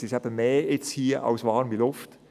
Es ist mehr dabei als warme Luft.